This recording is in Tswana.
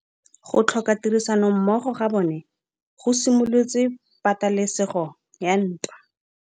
Go tlhoka tirsanommogo ga bone go simolotse patêlêsêgô ya ntwa.